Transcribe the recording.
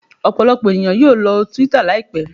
Ọpọlọpọ eniyan yoo lọ si twitter laipẹ